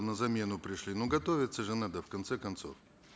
на замену пришли но готовиться же надо в конце концов